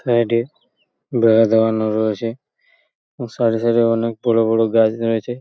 Side -এ বেড়া দেওয়ানো রয়েছে এবং সাইড -এ সাইড -এ অনেক বড় বড় গাছ নেমেছে।